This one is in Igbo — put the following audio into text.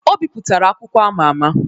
Ọ bipụtara akwụkwọ ama ama